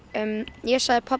ég sagði pabba